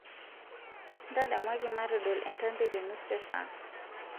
ntadamuaki matodol entambi te nusu esaa